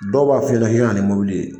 Dɔw b'a f'i ɲɛna k'i ka na ni ye.